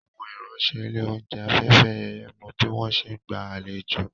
Àwọn ìránṣẹ́ ilé oúnjẹ Afẹ́fẹ́yẹyẹ mo bí wọ́n ṣe ń gba àlejò